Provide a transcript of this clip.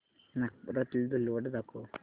नागपुरातील धूलवड दाखव